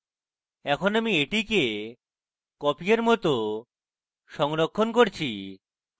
এখন আমি এটিকে copy এর মত সংরক্ষণ করছি